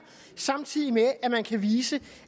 samtidig med at man kan vise